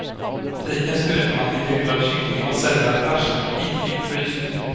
Butiken skryter med att den grillade kyckling man säljer är färsk och inte djupfryst.